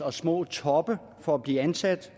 og små toppe for at blive ansat